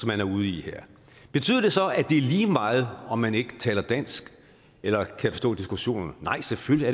man er ude i her betyder det så at det er lige meget om man ikke taler dansk eller kan forstå diskussionerne nej selvfølgelig